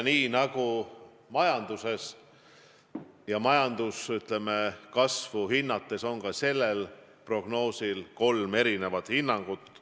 Nii nagu majanduses, majanduskasvu hinnates, on ka sellel prognoosil kolm erinevat hinnangut.